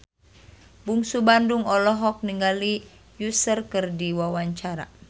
Bungsu Bandung olohok ningali Usher keur diwawancara